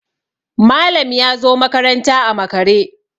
Malam ya zo makaranta a makare